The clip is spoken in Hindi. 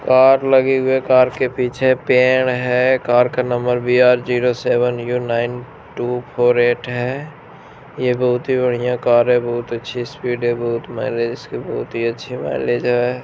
कार लगी हुई है। कार के पीछे पेड़ है। कार का number B R zero seven U nine two four eight है। यह बहुत ही बढ़िया कार है। बहुत अच्छी स्पीड है। बहुत माइलेज इसके बहुत ही अच्छी इसकी माइलेज है।